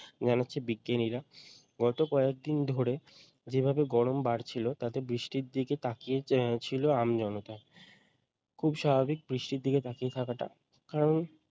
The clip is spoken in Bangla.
জানাচ্ছেন বিজ্ঞানীরা গত কয়েক দিন ধরে যে ভাবে গরম বাড়ছিল তাতে বৃষ্টির দিকে তাকিয়ে ছিল আমজনতা খুব স্বাভাবিক বৃষ্টির দিকে তাকিয়ে থাকাটা কারণ